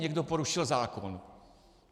Někdo porušil zákon.